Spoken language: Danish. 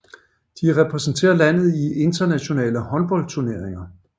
De repræsenterer landet i internationale håndboldturneringer